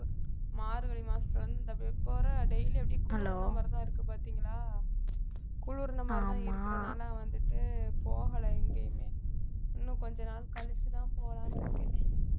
மார்கழி மாசத்துல இருந்து இந்த daily அப்படியே குளிர மாதிரி தான் இருக்கு பார்த்தீங்களா குளிர்னா மாதிரி தான் இருக்கறதுனால வந்துட்டு போகலை எங்கேயுமே இன்னும் கொஞ்ச நாள் கழிச்சுதான் போலாம்னு இருக்கேன்